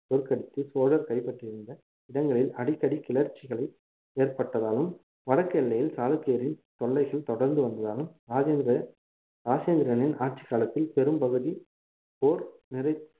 தோற்கடித்து சோழர் கைப்பற்றியிருந்த இடங்களில் அடிக்கடி கிளர்ச்சிகளை ஏற்பட்டதாலும் வடக்கு எல்லையில் சாளுக்கியரின் தொல்லைகள் தொடர்ந்து வந்ததாலும் ராஜேந்திரனின் ஆட்சிக் காலத்தில் பெரும்பகுதி போர் நிறை~